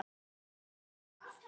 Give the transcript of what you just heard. Ég gerði mistök.